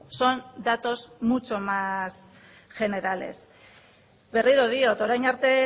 son datos mucho más generales berriro diot orain arte